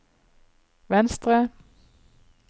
venstre